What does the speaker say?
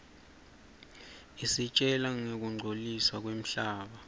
isitjela ngekungcoliswa kwemhlaba